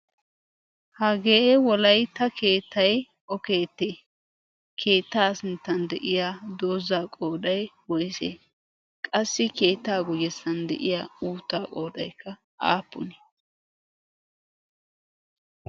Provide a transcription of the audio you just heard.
hagee wolaytta keettay o keette? keetta guyyesan de'iyaa dooza qooday woysse? qassi keetta guyyessan de'iyaa uutta qoodaykka aappune?